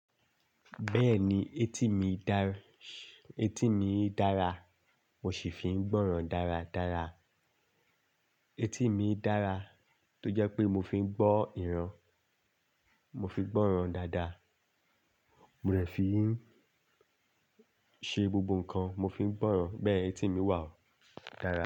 Bẹ́ẹ̀ni, etí mi dára, mo sì fi ń gbọ́ ran dáradára. Etí mi dára tó jẹ́ pé mo fi ń gbọ́ ìran, mo fi ń gbọ́ ìran dáadáa. Mo rẹ̀ ẹ fi ń ṣe gbogbo nǹkan, mo fi ń gbọ́ ìran. Bẹ́ẹ̀ etí mi wà ó dára.